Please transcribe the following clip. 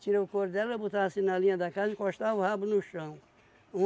Tirei o couro dela, botava assim na linha da casa, encostava o rabo no chão.